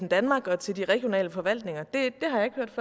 danmark og til de regionale forvaltninger det